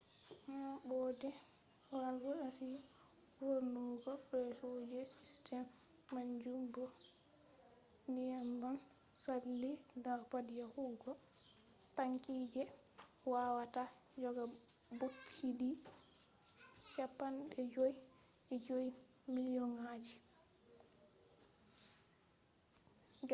maɓɓode valv achi vurtungo presso je sistem majum bo nyebbam saali dau pad yahugo tanki je wawata joga bokiti 55,000 2.3 miliyon